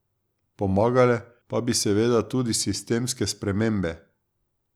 Pomagale pa bi seveda tudi sistemske spremembe.